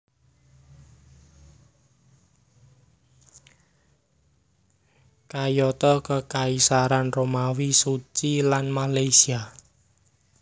Kayata Kekaisaran Romawi Suci lan Malaysia